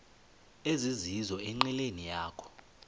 ezizizo enqileni yakho